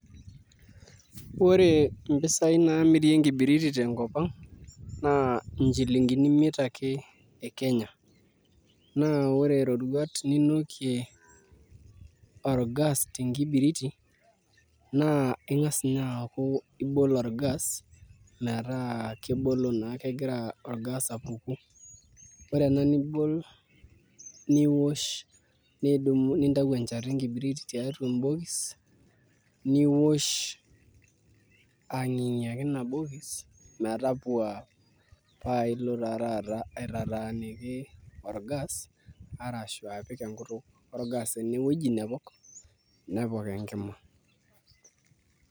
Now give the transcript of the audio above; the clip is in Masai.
Ore mpisaai naamiri enkibiriti tenkop ang' naa nchilingini imiet ake e Kenya naa ore iroruat ninokie orgas tenkibiriti naa ing'as ninye aaku ibol orgas metaa kebolo naa, kegira orgas apuku ore ena nibol niosh, nintau encheta enkibiriti tiatua embokis niosh ang'ing'iaki ina bokis metapuaa paa ilo taa taata aitataaniki orgas arshu apik enkutuk orgas ene wuei nepok nepok enkima.